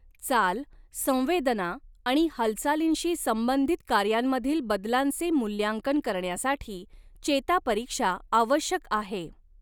चाल, संवेदना आणि हालचालींशी संबंधित कार्यांमधील बदलांचे मूल्यांकन करण्यासाठी चेता परीक्षा आवश्यक आहे.